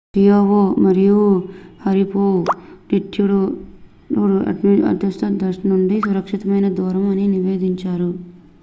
Chiao మరియు Sharipov attitude adjustment thrusters నుండి సురక్షితమైన దూరం అని నివేదించారు